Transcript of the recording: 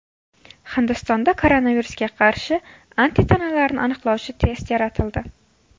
Hindistonda koronavirusga qarshi antitanalarni aniqlovchi test yaratildi.